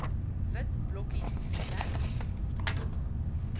wit blokkies regs